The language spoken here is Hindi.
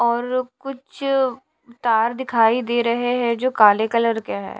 और कुछ तार दिखाई दे रहे हैं जो काले कलर के हैं।